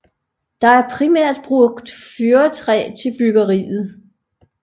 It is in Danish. Der er primært brugt fyrretræ til byggeriet